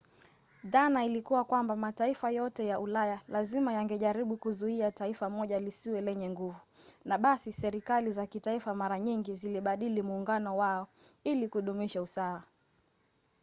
dhana ilikuwa kwamba mataifa yote ya ulaya lazima yangejaribu kuzuia taifa moja lisiwe lenye nguvu na basi serikali za kitaifa mara nyingi zilibadili muungano wao ili kudumisha usawa